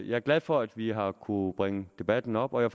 jeg er glad for at vi har kunnet bringe debatten op og jeg